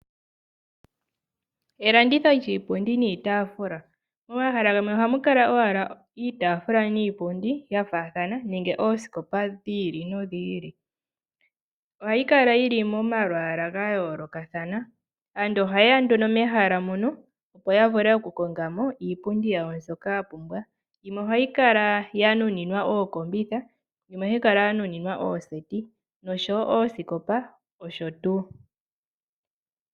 Elanditho lyiipundi niitaafula. Momahala gamwe ohamu kala owala iitaafula niipundi yafaathana nenge oosikopa dhiili nodhili . Ohayi kala yili momalwaala gayoolokathana. Aantu ohaye ya nduno mehala ndyono opo takongemo iipundi mbyoka yapumbwa . Yimwe ohayi kala yanuninwa ookombitha omanga yimwe ooseti noshowoo oosikopa noshotuu.